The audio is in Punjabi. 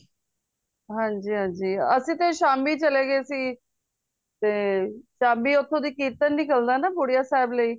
ਹਨਜੀ ਹਨਜੀ ਅੱਸੀ ਤੇ ਸ਼ਾਮੀ ਚਲੇ ਗਏ ਸੀ ਤੇ ਸ਼ਾਮੀ ਓਥੋਂ ਕੀਰਤਨ ਨਿਕਲਦਾ ਨਾ ਬੁੜੀਆਂ ਸਾਹਿਬ ਲਯੀ